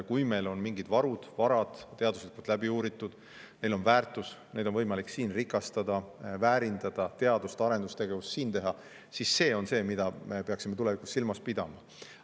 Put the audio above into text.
Kui meil on mingid varud, varad teaduslikult läbi uuritud, neil on väärtus, neid on võimalik siin rikastada, väärindada, teadus- ja arendustegevust siin teha, siis see on see, mida me peaksime tulevikus silmas pidama.